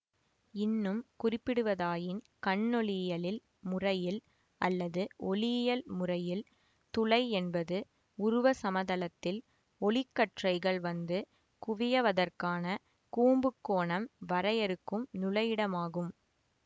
இன்னும் குறிப்பிடுவதாயின் கண்ணொளியியலில் முறையில் அல்லது ஒளியியல் முறையில் துளை என்பது உருவ சமதளத்தில் ஒளிக்கற்றைகள் வந்து குவியவதற்கான கூம்புக் கோணம் வரையறுக்கும் நுழையிடமாகும்